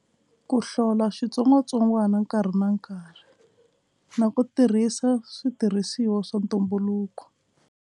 Ku hlola xitsongwatsongwana nkarhi na nkarhi na ku tirhisa switirhisiwa swa ntumbuluko.